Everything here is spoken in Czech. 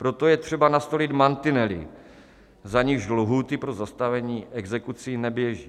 Proto je třeba nastolit mantinely, za nichž lhůty pro zastavení exekucí neběží.